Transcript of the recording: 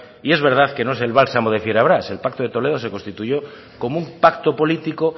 y es verdad que no es el bálsamo de fierabrás el pacto de toledo se constituyó como un pacto político